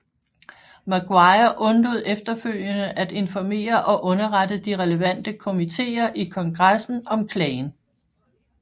Maguire undlod efterfølgende at informere og underrette de relevante komitéer i kongressen om klagen